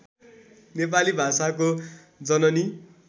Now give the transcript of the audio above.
नेपाली भाषाको जननी